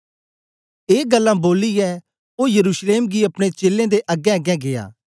ए गल्लां बोलियै ओ यरूशलेम गी अपने चेलें दे अगेंअगें गीया